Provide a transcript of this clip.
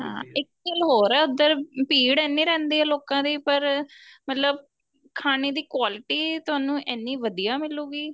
ਹਾਂ ਇੱਕ ਗੱਲ ਹੋਰ ਏ ਉੱਧਰ ਭੀੜ ਇੰਨੀ ਰਹਿੰਦੀ ਏ ਲੋਕਾ ਦੀ ਪਰ ਮਤਲਬ ਖਾਣੇ ਦੀ quality ਤੁਹਾਨੂੰ ਇੰਨੀ ਵਧੀਆ ਮਿਲੁਗੀ